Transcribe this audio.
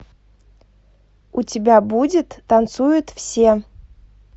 у тебя будет танцуют все